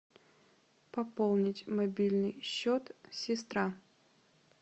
пополнить мобильный счет сестра